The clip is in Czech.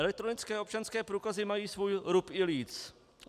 Elektronické občanské průkazy mají svůj rub i líc.